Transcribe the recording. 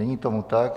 Není tomu tak.